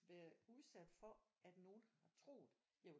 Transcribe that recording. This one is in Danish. Været udsat for at nogen har troet at jeg var